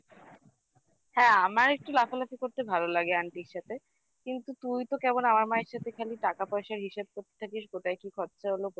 হ্যাঁ আমার একটু লাফালাফি করতে ভালো লাগে aunty র সাথে কিন্তু তুই তো কেমন আমার মায়ের সাথে খালি টাকা পয়সার হিসাব করতে থাকিস কোথায় কি খরচা হলো